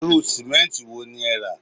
Irú sìmẹ́ǹtì wo ni ẹ rà